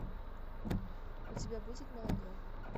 у тебя будет молодой